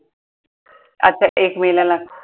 आता एक मे ला लागतो.